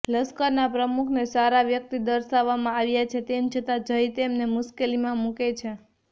લશ્કરનાં પ્રમુખને સારા વ્યક્તિ દર્શાવવામાં આવ્યા છે તેમ છતાં જય તેમને મુશ્કેલીમાં મુકે છે